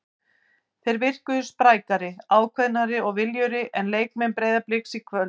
Þeir virkuðu sprækari, ákveðnari og viljugri en leikmenn Breiðabliks í kvöld.